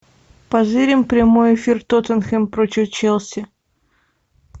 позырим прямой эфир тоттенхэм против челси